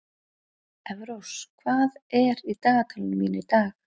Eyrós, hvað er á dagatalinu mínu í dag?